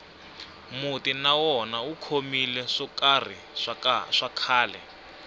muti na wona wu khomile swo karhi swa khale